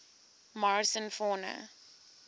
morrison fauna